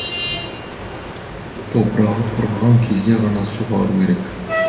топырағы құрғаған кезде ғана суғару керек